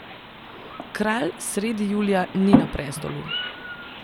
Kralj sredi julija ni na prestolu.